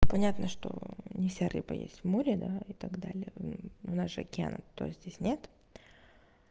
понятно что не вся рыба есть в море да и так далее у нас же океана то есть здесь нет